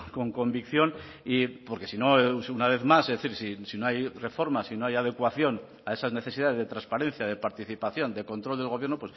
con convicción y porque si no una vez más es decir si no hay reformas si no hay adecuación a esas necesidades de transparencia de participación de control del gobierno